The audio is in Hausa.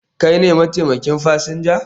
Kai ne mataimakin fasinja?